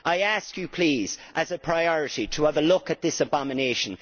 I ask you, please, as a priority, to have a look at this abomination.